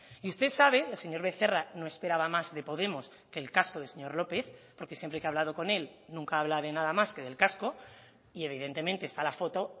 y usted sabe el señor becerra no esperaba más de podemos que el casco del señor lópez porque siempre que ha hablado con él nunca habla de nada más que del casco y evidentemente está la foto